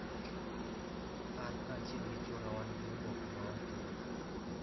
An kaachiel gi chwora wan gi oboke ma watiyogo.